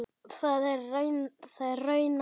Það er rauna saga.